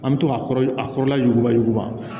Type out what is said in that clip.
An bɛ to k'a kɔrɔ a kɔrɔla ɲuguba juguman